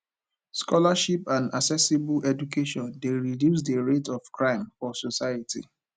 scholarship and accessible education de reduce the rate of crime for society